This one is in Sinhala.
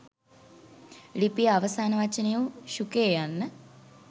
ලිපියේ අවසාන වචනය වූ ශුකයෙ යන්න